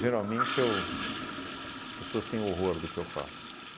eu... a as pessoas têm horror do que eu falo.